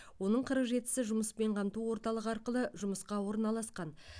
оның қырық жетісі жұмыспен қамту орталығы арқылы жұмысқа орналасқан